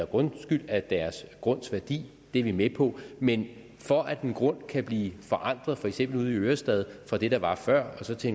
grundskyld af deres grundes værdi det er vi med på men for at en grund kan blive forandret for eksempel ude i ørestad fra det der var før og så til